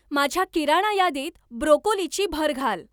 माझ्या किराणा यादीत ब्रोकोलीची भर घाल.